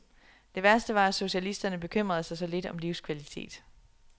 Det værste var, at socialisterne bekymrede sig så lidt om livskvalitet.